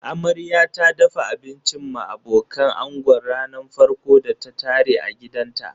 Amarya ta dafa abincin ma abokan ango ranar farkon da ta tare a gidanta.